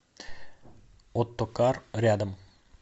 оттокар рядом